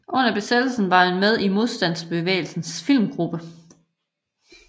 Under besættelsen var han med i Modstandsbevægelsens Filmgruppe